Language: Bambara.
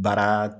Baara